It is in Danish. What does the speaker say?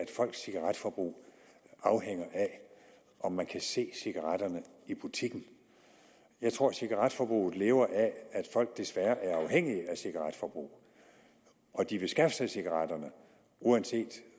folks cigaretforbrug afhænger af om man kan se cigaretterne i butikken jeg tror at cigaretforbruget lever af at folk desværre er afhængige af deres cigaretforbrug og de vil skaffe sig cigaretterne uanset